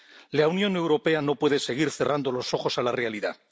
La Unión Europea no puede seguir cerrando los ojos a la realidad.